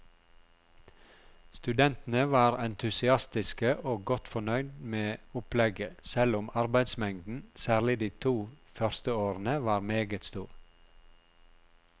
Studentene var entusiastiske og godt fornøyd med opplegget selv om arbeidsmengden, særlig de to første årene, var meget stor.